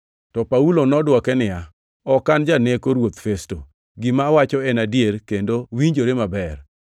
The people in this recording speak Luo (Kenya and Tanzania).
To Paulo nodwoke niya, “Ok an janeko, Ruoth Festo. Gima awacho en adier kendo winjore maber.